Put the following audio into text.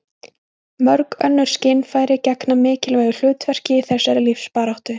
Mörg önnur skynfæri gegna mikilvægu hlutverki í þessari lífsbaráttu.